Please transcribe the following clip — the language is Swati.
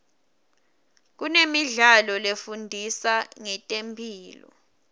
kunemidlalo lefundisa ngetemphilo